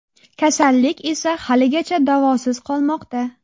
Kasallik esa haligacha davosiz qolmoqda.